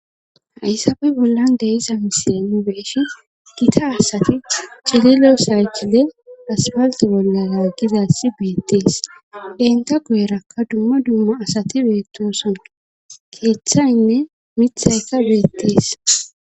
Haysape bollan de7iza misile nu be7ishin gita asati cililo saykile aspaltte bollara laaggizayssi beettes;eeta guyerakka dumma dumma asati beettoosona;keethaynne miththaykka beettees.